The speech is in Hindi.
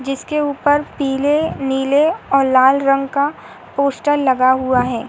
जिसके ऊपर पीले नीले और लाल रंग का पोस्टर लगा हुआ है।